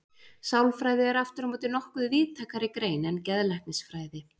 Sálfræði er aftur á móti nokkuð víðtækari grein en geðlæknisfræði.